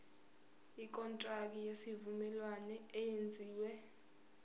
ikontraki yesivumelwano eyenziwe